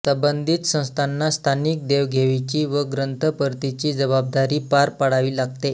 संबंधित संस्थांना स्थानिक देवघेवीची व ग्रंथ परतीची जबाबदारी पार पाडावी लागते